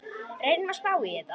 Reynum að spá í þetta.